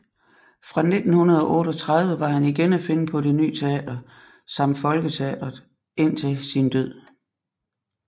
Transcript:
Fra 1938 var han igen at finde på Det Ny Teater samt Folketeatret indtil sin død